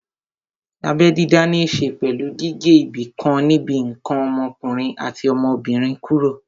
Abẹ́ dídá ní ṣe pẹ̀lú gígé ibìkan níbi ǹkan ọmọkùnrin àti ọmọbìnrin kúrò